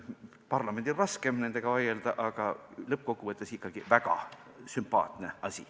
Parlamendil on raskem nendega vaielda, aga lõppkokkuvõttes on see väga sümpaatne.